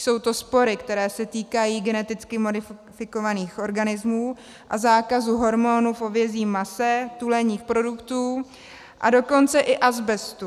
Jsou to spory, které se týkají geneticky modifikovaných organismů a zákazu hormonů v hovězím mase, tuleních produktů, a dokonce i azbestu.